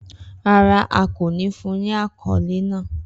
Rara, a ko ni fun ni akọle naa.